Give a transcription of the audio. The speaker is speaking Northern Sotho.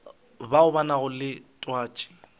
bao ba nago le twatši